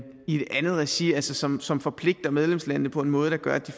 regi regi som som forpligter medlemslandene på en måde der gør at